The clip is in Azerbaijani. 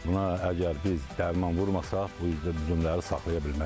Buna əgər biz dərman vurmasaq, bu üzüm üzümləri saxlaya bilmərik.